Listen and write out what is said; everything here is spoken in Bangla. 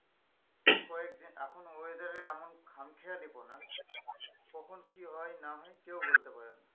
কয়েকদিন এখন weather এর এমন খামখেয়ালিপনা কখন কি হয় না হয় কেউ বলতে পারে না।